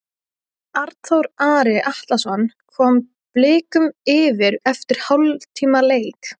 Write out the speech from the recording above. Arnþór Ari Atlason kom Blikum yfir eftir hálftíma leik.